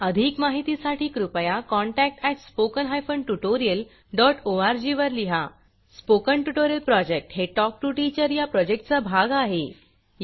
अधिक माहितीसाठी कृपया contact at spoken hyphen tutorial dot ORG वर लिहा स्पोकन ट्युटोरियल प्रॉजेक्ट हे टॉक टू टीचर या प्रॉजेक्टचा भाग आहे